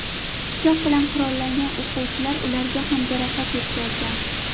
Pichoq bilan qurollangan o‘quvchilar ularga ham jarohat yetkazgan.